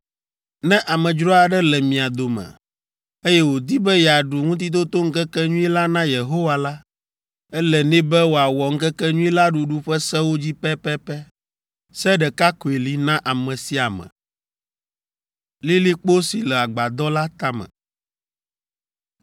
Ne amedzro aɖe le mia dome, eye wòdi be yeaɖu Ŋutitotoŋkekenyui la na Yehowa la, ele nɛ be wòawɔ Ŋkekenyui la ɖuɖu ƒe sewo dzi pɛpɛpɛ. Se ɖeka koe li na ame sia ame.”